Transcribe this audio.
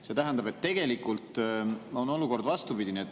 See tähendab, et tegelikult on olukord vastupidine.